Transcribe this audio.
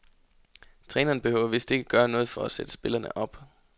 Træneren behøver vist ikke at gøre noget for at sætte spillerne op.